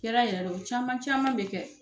Kɛra yɛrɛ le o caman caman bɛ kɛ.